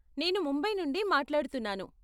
నేను ముంబై నుండి మాట్లాడుతున్నాను.